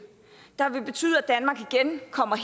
der vil betyde at danmark igen kommer